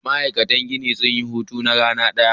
Ma'aikatan gini sun hits na rana daya.